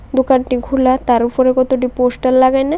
দোকানটি খুলা তার ওফোরে কতটি পোস্টার লাগাইনে।